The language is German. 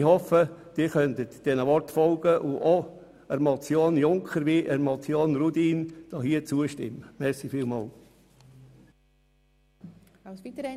Ich hoffe, Sie können diesen Worten folgen und den beiden Motionen Rudin und Junker zustimmen.